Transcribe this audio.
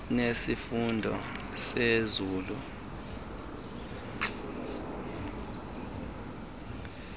nesifundo senzululwazi yesifo